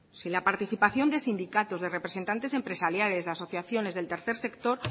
si la participación de sindicatos de representantes empresariales de asociaciones del tercer sector